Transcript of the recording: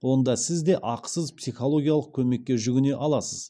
онда сізде ақысыз психологиялық көмекке жүгіне аласыз